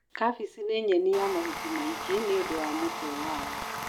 kabeci nĩnyeni ya mahuti maingi nĩũndũ wa mũtwe wayo mũnene.